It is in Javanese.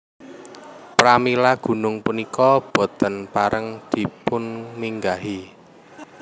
Pramila gunung punika boten pareng dipunminggahi